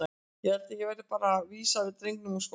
Ég held að ég verði bara að vísa drengnum úr skólanum.